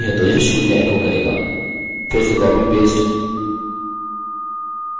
और अंतिम error है अब मूलतः यदि सबकुछ सही है तो यह शून्य एको करेगा